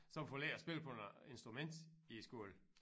Som får lært at spille på noget instrument i æ skole